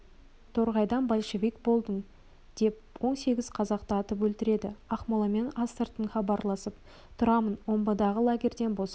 торғайдан большевик болдың деп он сегіз қазақты атып өлтіреді ақмоламен астыртын хабарласып тұрамын омбыдағы лагерьден босанып